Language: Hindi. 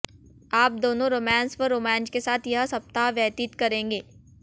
आप दोनों रोमांस व रोमांच के साथ यह सप्ताह व्यतीत करेगें